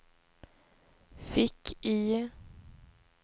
fick-IE